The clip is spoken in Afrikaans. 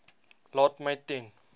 laat my ten